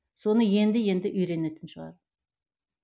соны енді енді үйренетін шығар